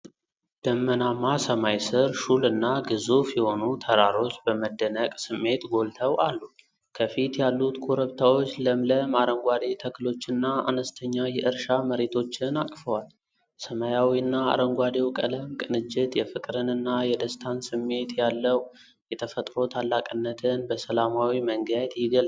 ደመናማ ሰማይ ስር፣ ሹልና ግዙፍ የሆኑ ተራሮች በመደነቅ ስሜት ጎልተው አሉ። ከፊት ያሉት ኮረብታዎች ለምለም አረንጓዴ ተክሎችና አነስተኛ የእርሻ መሬቶችን አቅፈዋል። ሰማያዊውና አረንጓዴው ቀለም ቅንጅት የፍቅርንና የደስታን ስሜት ያለው የተፈጥሮ ታላቅነትን በሰላማዊ መንገድ የገልጻል።